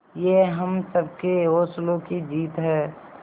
ये हम सबके हौसलों की जीत है